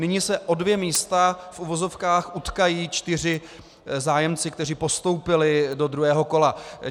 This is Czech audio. Nyní se o dvě místa v uvozovkách utkají čtyři zájemci, kteří postoupili do druhého kola.